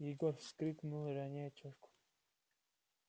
егор вскрикнул роняя чашку